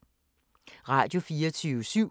Radio24syv